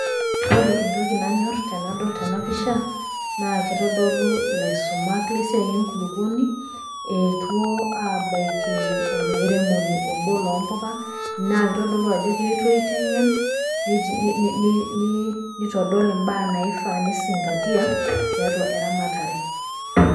ore entoki nanyor tenadol tena pisha naa kitodolu ilaisumak lesiai enkulupuoni, eettuo aabaiki olairemoni, obo loo mpuka naa kitodolu ajo keetuo aitengen.ni ni nitodol imbaa naifaa nisingatia teiatua eramatare.